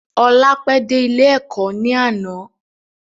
Ọlá pẹ de ilé Ẹ̀kọ́ ni àná.